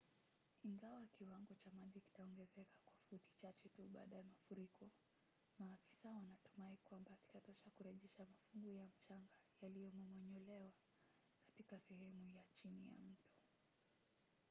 ingawa kiwango cha maji kitaongezeka kwa futi chache tu baada ya mafuriko maafisa wanatumai kwamba kitatosha kurejesha mafungu ya mchanga yaliyomomonyolewa katika sehemu ya chini ya mto